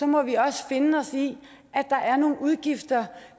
må vi også finde os i at der er nogle udgifter